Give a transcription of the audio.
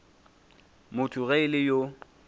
motho ge e le yo